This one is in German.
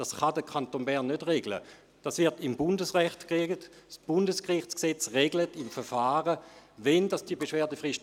– Der Kommissionssprecher, Grossrat Aebi, hat das Wort.